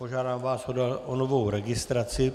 Požádám vás o novou registraci.